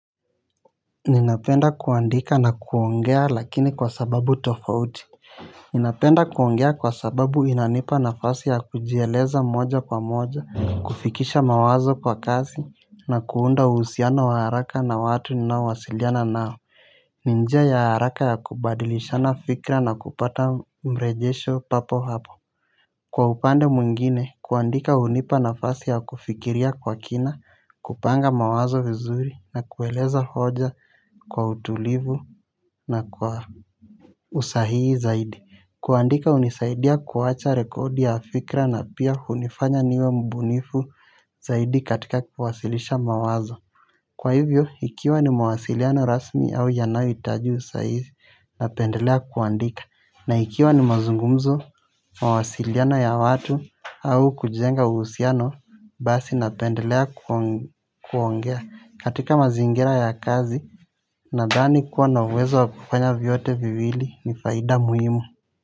Ninapenda kuandika na kuongea lakini kwa sababu tofauti. Ninapenda kuongea kwa sababu inanipa nafasi ya kujieleza moja kwa moja. Kufikisha mawazo kwa kazi na kuunda usiano wa haraka na watu nawasiliana nao. Ni njia ya haraka ya kubadilishana fikra na kupata mrejesho papo hapo. Kwa upande muingine, kuandika unipa nafasi ya kufikiria kwa kina, kupanga mawazo vizuri na kueleza hoja kwa utulivu na kwa usahii zaidi. Kuandika unisaidia kuwacha rekodi ya fikra na pia hunifanya niwe mbunifu zaidi katika kwasilisha mawazo. Kwa hivyo, ikiwa ni mawasiliano rasmi au yanayoitaji saizi napendelea kuandika. Na ikiwa ni mazungumzo mawasiliano ya watu au kujenga usiano basi napendelea kuongea. Katika mazingira ya kazi nadhani kuwa na uwezo wakufanya vyote vivili ni faida muhimu.